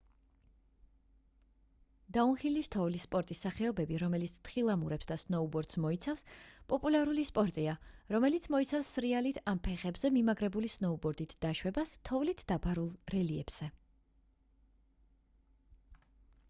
დაუნჰილის თოვლის სპორტის სახეობები რომელიც თხილამურებს და სნოუბორდს მოიცავს პოპულარული სპორტია რომელიც მოიცავს სრიალით ან ფეხებზე მიმაგრებული სნოუბორდით დაშვებას თოვლით დაფარულ რელიეფზე